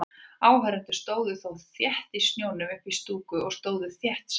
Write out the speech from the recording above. Áhorfendur stóðu þó í þéttum snjónum uppí stúku og stóðu þétt saman.